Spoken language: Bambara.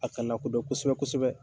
A ka lakodɔn kosɛbɛ-kosɛbɛ.